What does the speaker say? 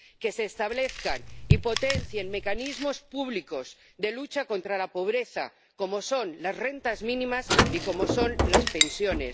que se establezcan y potencien mecanismos públicos de lucha contra la pobreza, como son las rentas mínimas y como son las pensiones